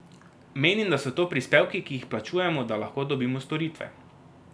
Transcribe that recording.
Menim, da so to prispevki, ki jih plačujemo, da lahko dobimo storitve.